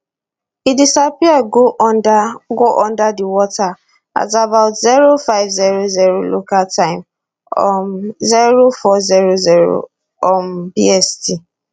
e disappear go under go under di water at about zero five zero zero local time um zero four zero zero um bst